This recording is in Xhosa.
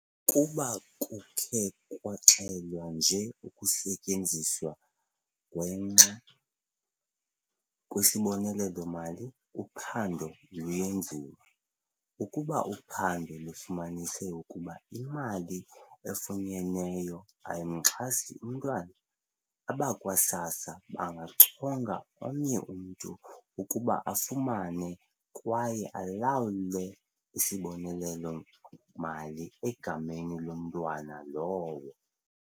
"kuba kukhe kwaxelwa nje ukusetyenziswa ngwenxa kwesibonelelo-mali, uphando luyenziwa. Ukuba uphando lufumanise ukuba imali efunyenweyo ayimxhasi umntwana, abakwa-SASSA bangachonga omnye umntu ukuba afumane kwaye alawule isibonelelo-mali egameni lomntwana lowo."